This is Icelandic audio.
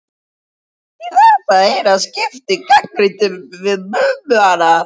Í þetta eina skipti gagnrýndum við Mummi hana.